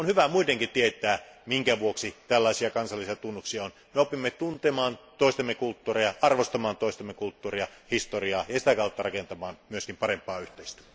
Muidenkin on hyvä tietää, minkä vuoksi tällaisia kansallisia tunnuksia on olemassa. Me opimme tuntemaan toistemme kulttuuria, arvostamaan toistemme kulttuuria, historiaa ja sitä kautta rakentamaan parempaa yhteistä.